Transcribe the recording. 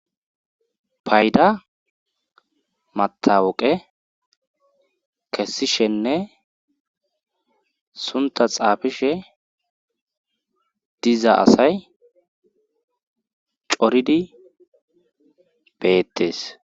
Payda matawoqe kessishenne sunta xaafishe diza asay coridi beettes